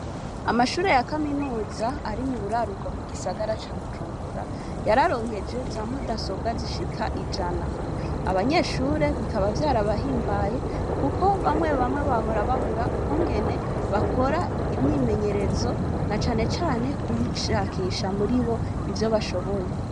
Amashure ya kaminuza ari mu buraruko bw'igisagara ca Bujumbura yararonkejwe za mudasobwa zishika ijana, abanyeshure bikaba vyarabahimbaye kuko bamwe bamwe bahora babura ukungene bakora imyimenyerezo na canecane kwishakisha muri bo ivyo bashoboye.